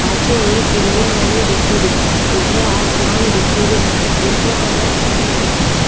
पाछे एक बिलडिंग बनी दिखे री ऊपर आसमान दिखे रो जेको कलर सफ़ेद दिखे रो।